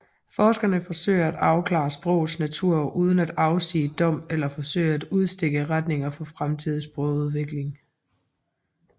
Forskerne forsøger at afklare sprogets natur uden at afsige dom eller forsøge at udstikke retninger for fremtidig sprogudvikling